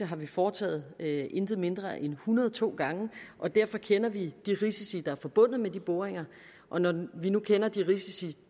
har vi foretaget ikke mindre end en hundrede og to gange og derfor kender vi de risici der er forbundet med de boringer og når vi nu kender de risici